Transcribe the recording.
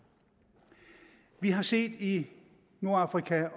vi har set i nordafrika